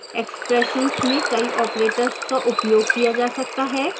expressions में कई operators का उपयोग किया जा सकता है